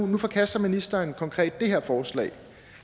nu forkaster ministeren konkret det her forslag